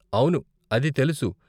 అవును, అది తెలుసు.